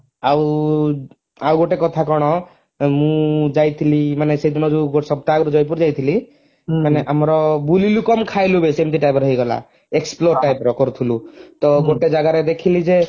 ଆଉ ଆଉ ଗୋଟେ କଥା କଣ ମୁଁ ଯାଇଥିଲି ମାନେ ସେଦିନ ଯଉ ସପ୍ତାହ ଆଗରୁ ଜୟପୁର ଯାଇଥିଲି ମାନେ ଆମର ବୁଲିଲୁ କମ ଖାଇଲୁ ବେଶି ଏମିତି type ର ହେଇଗଲା explore type ର କରିଥିଲୁ ତ ଗୋଟେ ଜାଗାରେ ଦେଖିଲି ଯେ